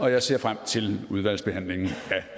jeg ser frem til udvalgsbehandlingen